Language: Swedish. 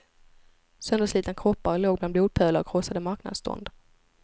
Sönderslitna kroppar låg bland blodpölar och krossade marknadsstånd.